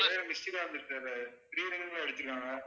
ஒரே ஒரு missed call